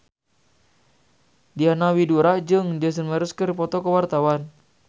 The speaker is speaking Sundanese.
Diana Widoera jeung Jason Mraz keur dipoto ku wartawan